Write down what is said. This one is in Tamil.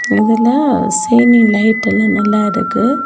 இதுல சீலிங் லைட் எல்லா நல்லா இருக்கு.